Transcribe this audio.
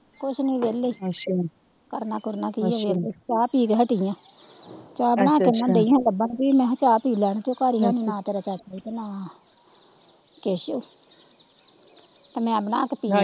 ਕੁਝ ਨਹੀਂ ਵੇਹਲੇ ਈ ਕਰਨਾ ਕੁਰਨਾ ਕੀ ਹਜੇ ਤਾ ਚਾਹ ਪੀ ਕੇ ਹਟੀ ਆ ਚਾਹ ਬਣਾ ਕੇ ਦਈ ਹੀ ਓਹਨਾ ਨੂੰ ਲਬਣ ਮੈ ਕਿਹਾ ਪੀ ਚਾਹ ਪੀ ਲੈਣ ਤੇ ਉਹ ਘਰ ਈ ਹੈਨੀ ਆ ਨਾ ਤੇਰਾ ਚਾਚਾ ਤੇ ਨਾ ਕੈਸੋ ਤੇ ਮੈ ਬਣਾ ਕੇ ਪੀਲੀ।